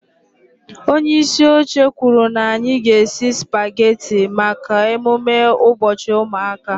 Onye isi oche kwuru na anyị ga-esi spagetị maka emume ụbọchị ụmụaka